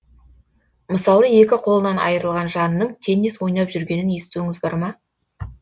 мысалы екі қолынан айырылған жанның теннис ойнап жүргенін естуіңіз бар ма